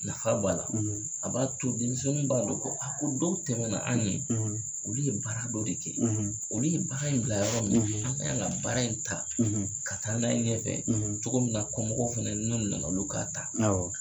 Nafa b'a la, , a b'a to denmisɛnninw b'a don ko, , ko dɔw tɛmɛna an ɲɛ, , olu ye baara dɔ de kɛ, , olu ye baara in bila yɔrɔ min , ;an ka y'an ka baara in ta, , ka taa n'a ye ɲɛfɛ, , cogo min na kɔmɔgɔw fɛnɛ n'o nana olu k'a ta. Awɔ